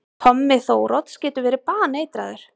Tommi Þórodds getur verið baneitraður!